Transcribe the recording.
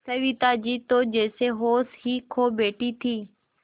सविता जी तो जैसे होश ही खो बैठी थीं